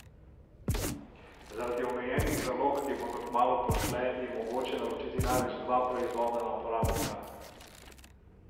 Zaradi omejenih zalog, ki bodo kmalu pošle, je mogoče naročiti največ dva proizvoda na uporabnika.